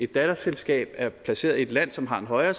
datterselskab er placeret i et land som har en højere